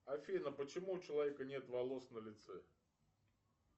афина почему у человека нет волос на лице